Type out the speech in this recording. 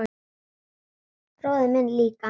Bróðir minn líka.